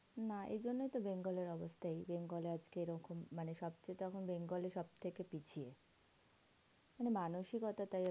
না এইজন্যেই তো bengal এর অবস্থা এই bengal এ আজকে এরকম মানে সবচেয়ে তো এখন bengal ই সবথেকে পিছিয়ে। মানে মানসিকতাই